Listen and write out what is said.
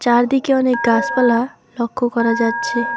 চারদিকে অনেক গাছপালা লক্ষ্য করা যাচ্ছে।